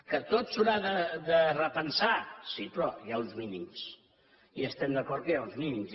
que tot s’haurà de repensar sí però hi ha uns mínims i estem d’acord que hi ha uns mínims